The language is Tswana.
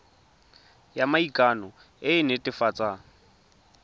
ya maikano e e netefatsang